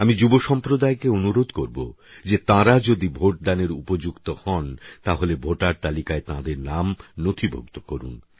আমি যুবসম্প্রদায়কে অনুরোধ করব যে তাঁরা যদি ভোটদানের উপযুক্ত হন তাহলে ভোটার তালিকায় তাঁদের নাম নথিভুক্ত করুন